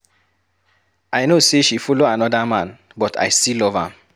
I no say she follow another man but I still love am.